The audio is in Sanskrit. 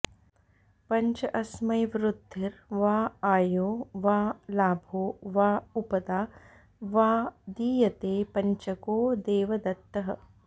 पञ्च अस्मै वृद्धिर् वा आयो वा लाभो वा उपदा वा दीयते पज्चको देवदत्तः